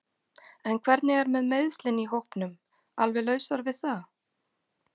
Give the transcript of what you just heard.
En hvernig er með meiðslin í hópnum alveg lausar við það?